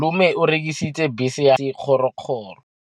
Malome o rekisitse bese ya gagwe ya sekgorokgoro.